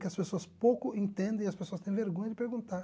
Que as pessoas pouco entendem e as pessoas têm vergonha de perguntar.